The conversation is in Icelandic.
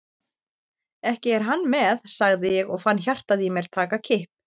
Ekki er hann með? sagði ég og fann hjartað í mér taka kipp.